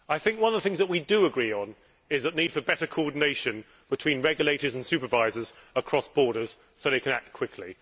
One of the things that we do agree on is the need for better coordination between regulators and supervisors across borders so that they can act quickly.